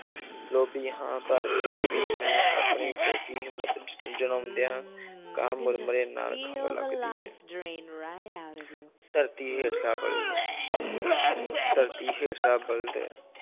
ਲੋਭੀ ਹਾਂ ਪਰ ਫਿਰ ਵੀ ਮੈਂ ਆਪਣੀ ਫ਼ੋਕੀ ਹਿੰਮਤ ਜ~ ਜਲਾਉਂਦਿਆਂ ਕਿਹਾ ਮੁਰਮੁਰੇ ਨਾਲ ਖੰਘ ਲੱਗਦੀ ਹੈ ਧਰਤੀ ਹੇਠਲਾ ਬਲਦ ਧਰਤੀ ਹੇਠਲਾ ਬਲਦ